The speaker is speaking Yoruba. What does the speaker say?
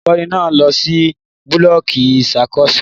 Olukọni náà lọ si bulọọki ìṣàkóso